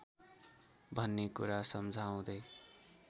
भन्ने कुरा सम्झाउँदै